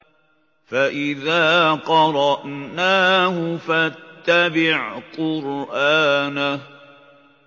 فَإِذَا قَرَأْنَاهُ فَاتَّبِعْ قُرْآنَهُ